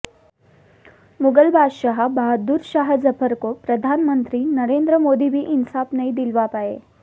मुगल बादशाह बहादुर शाह जफर को प्रधानमंत्री नरेन्द्र मोदी भी इंसाफ नहीं दिलवा पाए